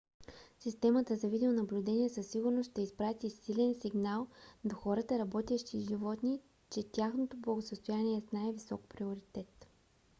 "системата за видеонаблюдение със сигурност ще изпрати силен сигнал до хората работещи с животни че тяхното благосъстояние е с най-висок приоритет